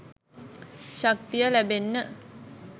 ශක්තිය ලැබෙන්න